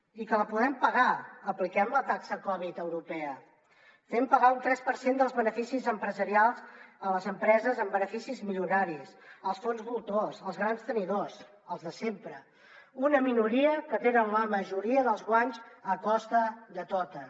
i que la podem pagar apliquem la taxa covid dinou europea fem pagar un tres per cent dels beneficis empresarials a les empreses amb beneficis milionaris als fons voltors als grans tenidors als de sempre una minoria que tenen la majoria dels guanys a costa de totes